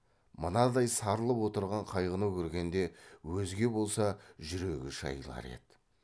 мынадай сарылып отырған қайғыны көргенде өзге болса жүрегі шайылар еді